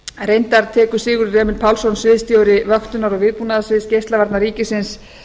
reyndar tekur sigurður emil pálsson sviðsstjóri vöktunar og viðbúnaðarsviðs geislavarna ríkisins